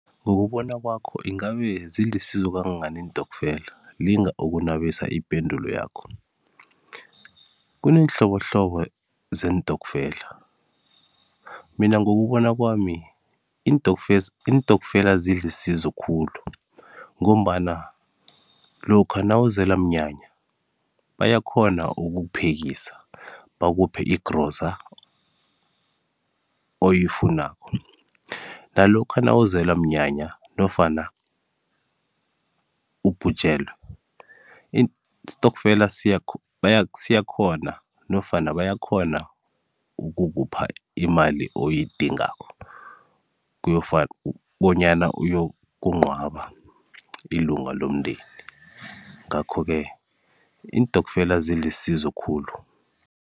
Ngokubona kwakho, ingabe zilisizo kangangani iintokfela? Linga ukunabisa ipendulo yakho. Kuneenhlobohlobo zeentokfela, mina ngokubona kwami iintokfela zilisizo khulu ngombana lokha nawuzelwa mnyanya bayakghona ukukuphekisa, bakuphe i-grocer oyifunako. Nalokha nawuzelwa mnyanya nofana ubhujelwe isitokfela siyakghona nofana bayakghona ukukupha imali oyidingako bonyana uyokunqwaba ilunga lomndeni, ngakho-ke iintokfela zilisizo khulu.